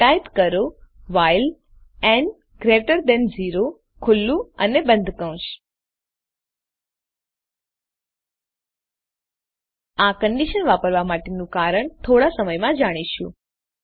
type કરો while n greater than 0 open close કૌંશ આ કન્ડીશન વાપરવા માટેનું કારણ થોડા સમયમાં જાણીશું